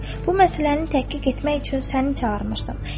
Bu məsələni təhqiq etmək üçün səni çağırmışdım.